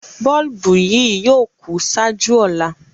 Bọ̀ọ̀lùbù yì yóò kú ṣáàjú ọ̀là.